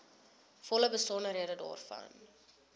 volle besonderhede daarvan